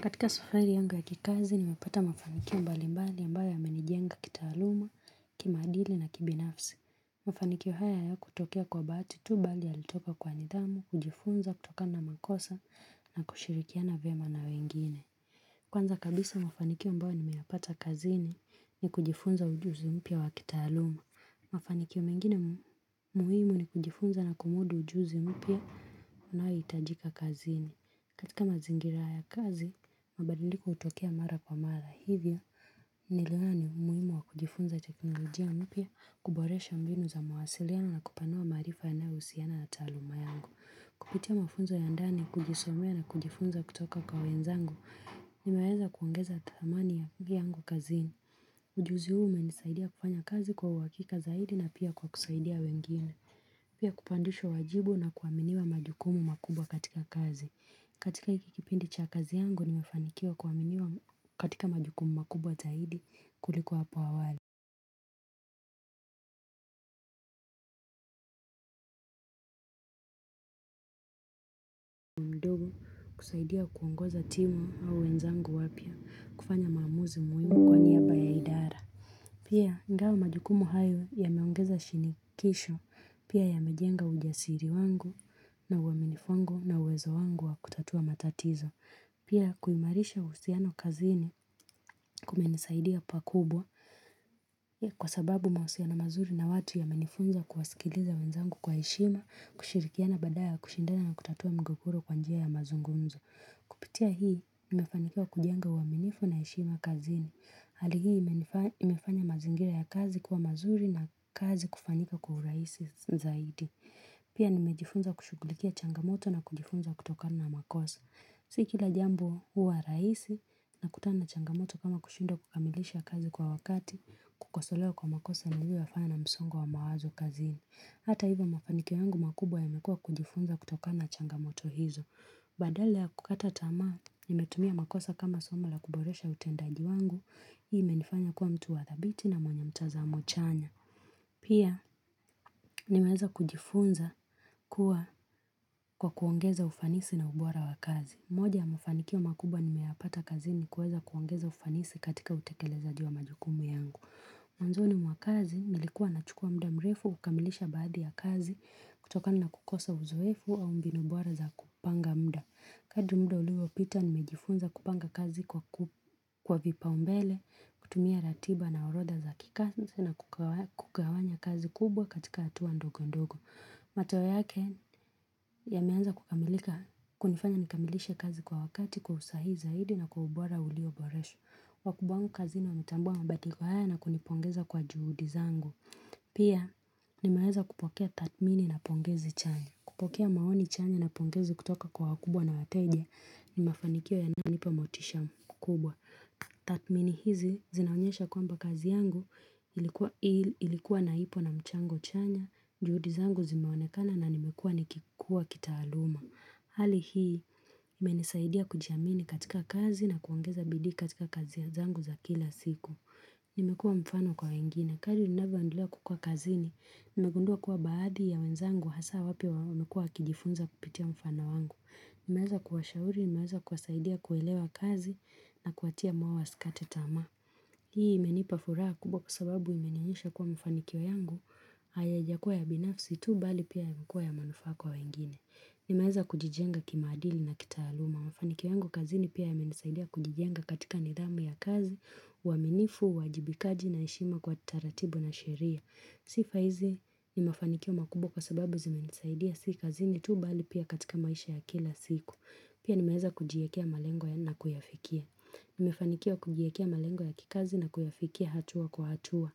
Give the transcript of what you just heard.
Katika safari yanga ya kikazi nimepata mafanikio mbali mbali ambayo yamenijenga kitaaluma, kimaadili na kibinafsi. Mafanikio haya yakutokea kwa bahati tu bali yalitoka kwa nidhamu, kujifunza, kutokna na makosa na kushirikiana viema na wengine. Kwanza kabisa mafanikio ambayo nimeyapata kazini ni kujifunza ujuzi mpya wa kitaaluma. Mafanikio mengine muhimu ni kujifunza na kumudu ujuzi mpya unaoitajika kazini. Katika mazingira ya kazi, mabadiliko utokea mara kwa mara hivyo, niliona muhimu wa kujifunza teknolojia mpya kuboresha mbinu za mawasiliano na kupanua maarifa yanayousiana na taaluma yangu. Kupitia mafunzo ya ndani kujisomea na kujifunza kutoka kwa wenzangu, nimeweza kuongeza thamani ya kugiyangu kazini. Ujuzi ume nisaidia kufanya kazi kwa uhakika zaidi na pia kwa kusaidia wengine, pia kupandisha wajibu na kuaminiwa majukumu makubwa katika kazi. Katika hiki kipindi cha kazi yangu, nimefanikiwa kuwaminiwa katika majukumu makubwa zaidi kulikuwa hapo awali. Kusaidia kuongoza timu au wenzangu wapya kufanya maamuzi muhimu kwa niyaba ya idara. Pia, ingawa majukumu haya yameongeza shinikisho pia yamejenga ujasiri wangu na uaminifu wango na uwezo wangu wa kutatua matatizo. Pia kuimarisha uhusiano kazini kumenisaidia pakubwa kwa sababu mahusiano mazuri na watu yamenifunza kuwasikiliza wenzangu kwa heshima kushirikiana badala ya kushindana na kutatua mgogoro kwa njia ya mazungumzo. Kupitia hii nimefanikiwa kujenga uwaminifu na heshima kazini. Hali hii imefanya mazingira ya kazi kwa mazuri na kazi kufanyika kwa uhuraisi zaidi. Pia nimejifunza kushugulikia changamoto na kujifunza kutokana na makosa. Si kila jambo huwa rahisi na kutana na changamoto kama kushindwa kukamilisha kazi kwa wakati kukosolewa kwa makosa na hivyo wafanya na msongo wa mawazo kazini. Hata hivyo mafanikio yangu makubwa yamekua kujifunza kutokana na changamoto hizo. Badala ya kukata tamaa nimetumia makosa kama somo la kuboresha utendaji wangu, hii imenifanya kuwa mtu wa dhabiti na mwenye mtazamo chanya. Pia nimeeza kujifunza kuwa kwa kuongeza ufanisi na ubora wa kazi. Moja ya mafanikio makubwa nimeyapata kazini ni kuweza kuongeza ufanisi katika utekelezaji wa majukumu yangu. Mwanzoni mwa kazi, nilikuwa na chukua muda mrefu, kukamilisha baadhi ya kazi, kutokana na kukosa uzoefu au mbinu bora za kupanga muda. Hadi muda ulivopita nimejifunza kupanga kazi kwa vipa umbele, kutumia ratiba na orodha za kikazi na kukawanya kazi kubwa katika hatua ndogo ndogo. Matoe yake yameanza kukamilika, kunifanya nikamilishe kazi kwa wakati kwa usahihi zaidi na kwa ubora ulioboresha wakubwa wangu kazini wametambua mabaliko haya na kunipongeza kwa juhudi zangu Pia nimeweza kupokea tathmini na pongezi chanya kupokea maoni chanya na pongezi kutoka kwa wakubwa na wateje ni mafanikio yanayonipa motisha mkubwa Tathmini hizi zinaonyesha kwamba kazi yangu ilikuwa naipo na mchango chanya juhudi zangu zimeonekana na nimekua nikikua kitaaluma. Hali hii, imenisaidia kujiamini katika kazi na kuongeza bidii katika kazi zangu za kila siku. Nimekuwa mfano kwa wengine. Kadri ninavyo endelea kukua kazini, nimegundua kuwa baadhi ya wenzangu hasa wapya wamekua wakijifunza kupitia mfano wangu. Nimeweza kuwashauri, nimeweza kuwasaidia kuelewa kazi na kuwatia moyo wa sikate tamaa. Hii imenipa furaha kubwa kwa sababu imenionyesha kuwa mafanikio yangu. Hayajakuwa ya binafsi tu bali pia yamekuwa ya manufaa kwa wengine Nimeeza kujijenga kimaadili na kitaaluma Mafanikio yangu kazini pia yamenisaidia kujijenga katika nidhamu ya kazi uwaminifu, uwajibikaji na heshima kwa taratibu na sheria Sifa hizi ni mafanikio makubwa kwa sababu zimenisaidia si kazini tu bali pia katika maisha ya kila siku Pia nimeeza kujiekea malengo ya na kuyafikia Nimefanikiwa kujiekea malengo ya kikazi na kuyafikia hatua kwa hatua